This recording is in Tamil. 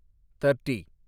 தேர்ட்டி